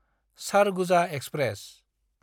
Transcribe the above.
Surguja express